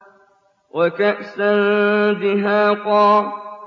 وَكَأْسًا دِهَاقًا